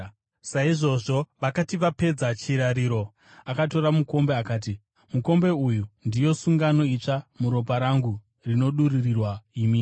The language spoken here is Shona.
Saizvozvo, vakati vapedza chirariro akatora mukombe, akati, “Mukombe uyu ndiyo sungano itsva muropa rangu, rinodururirwa imi.